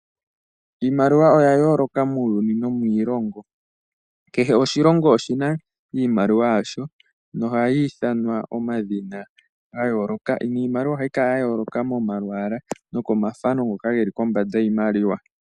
Iimaliwa oya yooloka muuyuni nomiilongo. Kehe oshilongo oshi na iimaliwa yasho nohayi ithanwa omadhina ga yooloka, niimaliwa ohayi kala ya yooloka momalwaala nokomathano ngoka ge li kombanda yiimaliwa.